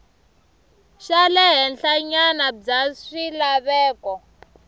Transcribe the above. xa le henhlanyana bya swilaveko